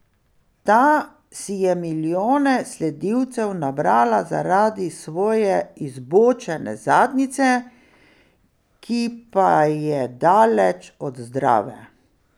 Ta si je milijone sledilcev nabrala zaradi svoje izbočene zadnjice, ki pa je daleč od zdrave.